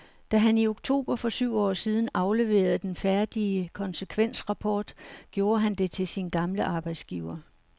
Da han i oktober for syv år siden afleverede den færdige konsekvensrapport, gjorde han det til sin gamle arbejdsgiver.